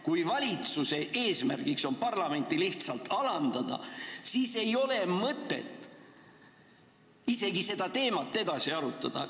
Kui valitsuse eesmärk on parlamenti lihtsalt alandada, siis ei ole mõtet seda teemat edasi arutada.